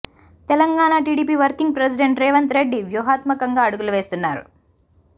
Telangana TDP working president Revanth Reddy వ్యూహత్మకంగా అడుగులు వేస్తున్నారు